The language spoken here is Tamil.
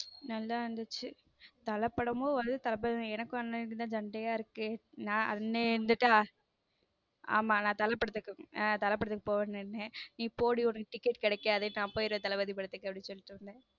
நல்லா இருந்துச்சு தல படமும் வருது தளபதி படமும் எனக்குஅண்ணனுக்கும் தான் சண்டையா இருக்கு அண்ணன் இருந்துட்ட ஆமா நான் தல படத்துக்கு தல படத்துக்கு போவேன்னு நீ போடி உனக்கு ticket கிடைக்காது நான் போயிடுறேன் தளபதி படத்துக்குன்னு சொல்லிட்டு வந்தேன்